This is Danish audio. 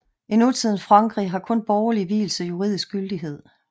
I nutidens Frankrig har kun borgerlig vielse juridisk gyldighed